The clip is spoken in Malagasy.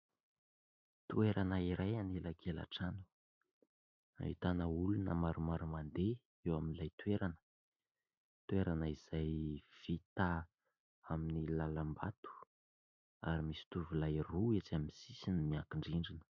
Toerana iray an'elakelan-trano ; ahitana olona maromaro mandeha eo amin'ilay toerana. Toerana izay vita amin'ny lalam-bato ary misy tovolahy roa etsy amin'ny sisiny miankin-drindrina.